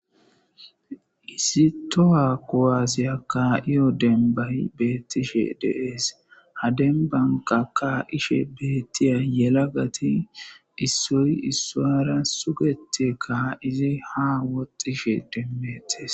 Issi toho kuwase ka,iyo dembayi betishe dee's ha dembanka ka,ishe betiya yelagati isoyi isuwura sugeti ka,idi ha woxishe de,etes